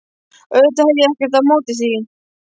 Auðvitað hef ég ekkert á móti því.